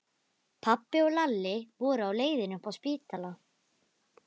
Pabbi og Lalli voru á leiðinni upp á spítala.